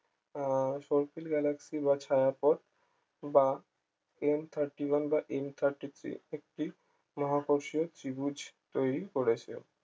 আহ galaxy বা ছায়াপথ বা M 30 one বা M 30 three একটি মহাকর্ষীয় ত্রিভুজ তৈরী করেছে